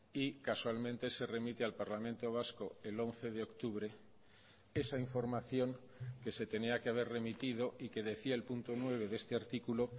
y casualmente se remite al parlamento vasco el once de octubre esa información que se tenía que haber remitido y que decía el punto nueve de este artículo